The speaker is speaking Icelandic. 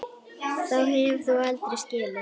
Þá hefur þú aldrei skilið.